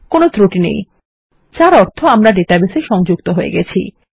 কোনো ত্রুটি নেই যার অর্থ আমরা ডেটাবেস এ সংযুক্ত হয়ে গেছি